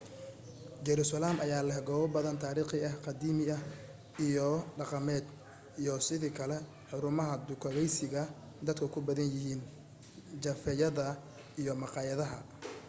jerusalem ayaa leh goobo badan taarikhi ah qadiimi iyo dhaqameed iyo sidoo kale xaruumaha dukaakaysiga dadka ku badan yihiin jafeeyada iyo maqaayadaha